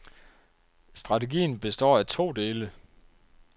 Strategien består af to dele.